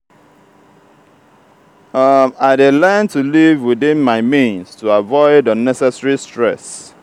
i dey learn to live within my means to avoid unnecessary stress.